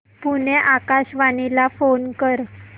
पुणे आकाशवाणीला फोन कर